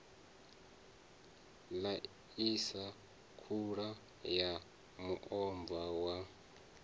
ḽaisa khula ya muomva wa